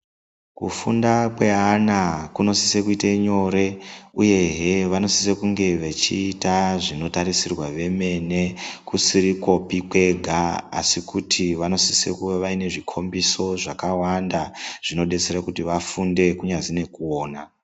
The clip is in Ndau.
Kufunda kweana kunosise kuite nyore ,uyehe vanosise kunge vechiita zvinotarisirwa vemene ,kusirikwopi kwega, asi kuti vaine zvikhombiso zvakawanda, zvinodetsere kuti vafunde, kunyazi nekuona.